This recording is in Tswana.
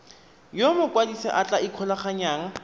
yo mokwadise a tla ikgolaganyang